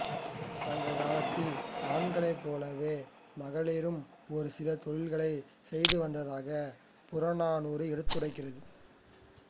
சங்ககாலத்தில் ஆண்களைப் போலவே மகளிரும் ஒரு சில தொழிலைச் செய்து வந்ததாகப் புறநானூறு எடுத்தியம்புகிறது